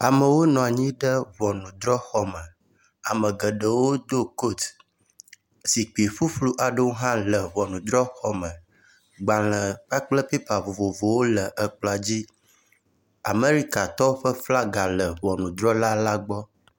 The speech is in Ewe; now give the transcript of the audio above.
Amewo nɔ anyi ɖe ŋɔnudrɔxɔ me, ame geɖewo do kot. Zikpui ƒuƒlu aɖewo hã le ŋɔnudrɔxɔ me, gbalẽ kpakple pepa vovovo le kplɔ la dzi. Amɛrikatɔwo ƒe flaga le ŋɔnudrɔla la gbɔ.